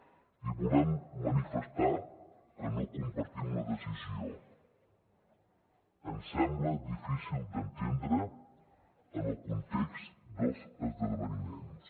i volem manifestar que no compartim la decisió ens sembla difícil d’entendre en el context dels esdeveniments